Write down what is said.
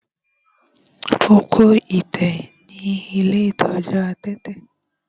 Ó kó ẹ̀tẹ̀ ní ilé ìtọ́jú adẹ́tẹ̀.